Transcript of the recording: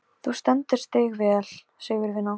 Með stjörnur í augum og sól í hjarta.